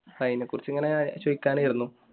അതിനെക്കുറിച്ച് ഇങ്ങനെ ചോദിക്കാനായിരുന്നു